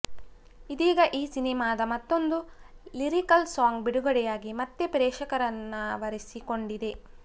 ಇದೀಗ ಈ ಸಿನಿಮಾದ ಮತ್ತೊಂದು ಲಿರಿಕಲ್ ಸಾಂಗ್ ಬಿಡುಗಡೆಯಾಗಿ ಮತ್ತೆ ಪ್ರೇಕ್ಷಕರನ್ನಾವರಿಸಿಕೊಂಡಿದೆ